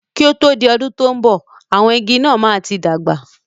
Kí o tó di ọdún tò ń bọ̀, àwọn igi náà máa tí dàgbà